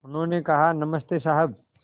उन्होंने कहा नमस्ते साहब